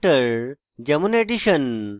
constructor যেমন: addition